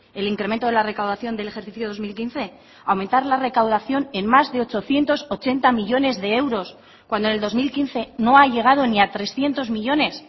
el incremento de la recaudación del ejercicio dos mil quince aumentar la recaudación en más de ochocientos ochenta millónes de euros cuando en el dos mil quince no ha llegado ni a trescientos millónes